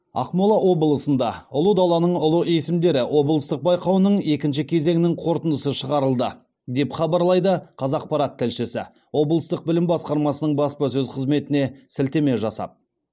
ақмола облысында ұлы даланың ұлы есімдері облыстық байқауының екінші кезеңінің қорытындысы шығарылды деп хабарлайды қазақпарат тілшісі облыстық білім басқармасының баспасөз қызметіне сілтеме жасап